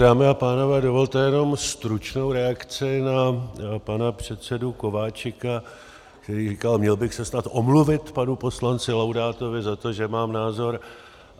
Dámy a pánové, dovolte jenom stručnou reakci na pana předsedu Kováčika, který říká: Měl bych se snad omluvit panu poslanci Laudátovi za to, že mám názor?